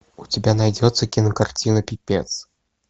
у тебя найдется кинокартина пипец